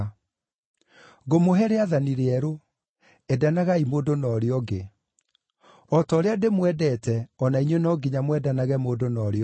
“Ngũmũhe rĩathani rĩerũ: Endanagai mũndũ na ũrĩa ũngĩ. O ta ũrĩa ndĩmwendete, o na inyuĩ no nginya mwendanage mũndũ na ũrĩa ũngĩ.